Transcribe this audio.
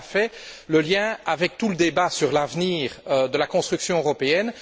M. Hökmark l'a fait le lien avec tout le débat sur l'avenir de la construction européenne.